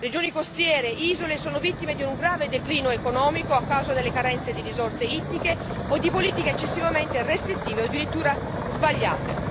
Regioni costiere e isole sono vittime di un grave declino economico a causa delle carenze di risorse ittiche o di politiche eccessivamente restrittive o addirittura sbagliate.